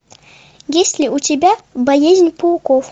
есть ли у тебя боязнь пауков